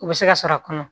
U bɛ se ka sɔrɔ a kɔnɔ